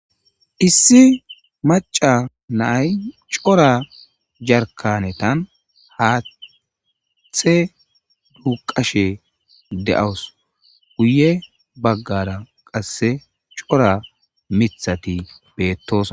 Issi maca naay cora jarkanetan haatthe duuqashe de'awus guye baggara qasse cora mithati beettos.